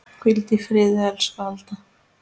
Hvíldu í friði, elsku Alda.